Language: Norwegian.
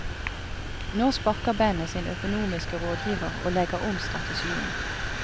Nå sparker bandet sin økonomiske rådgiver og legger om strategien.